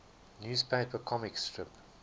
newspaper comic strip